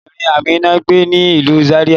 Ọbabirin Amina gbe ni ilu Zaria